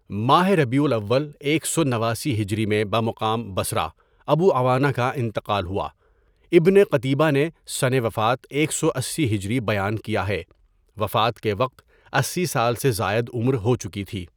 ماہ ربیع الاول ایک سو نواسی ہجری میں بمقام بصرہ ابو عوانہ کا انتقال ہوا ابن قتیبہ نے سنِ وفات ایک سو اسی ہجری بیان کیا ہے وفات کے وقت ۸۰ سال سے زائد عمر ہوچکی تھی.